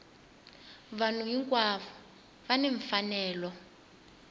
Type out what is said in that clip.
vanhu hinkwavo va ni mfanelo